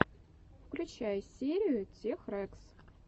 включай лучшую серию тех рэкс